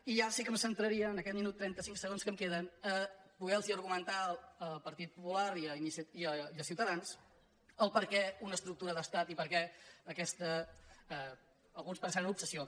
i ja sí que em centraria en aquest minut i trenta·cinc segons que em queden a poder·los argumentar al par·tit popular i a ciutadans per què una estructura d’estat i per què aquesta alguns pensaran obsessió